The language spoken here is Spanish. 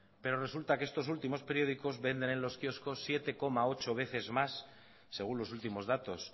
pero resulta que estos últimos periódicos venden en los kioscos siete coma ocho veces más según los últimos datos